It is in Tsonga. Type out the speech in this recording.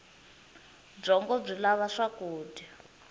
byongo byi lava swakudya